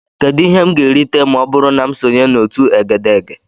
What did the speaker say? Kedu ihe m ga-erite ma ọ bụrụ na m sonye na otu egedege?